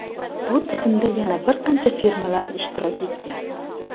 Bu tizimda yana bir qancha firmalar ishtirok etgan.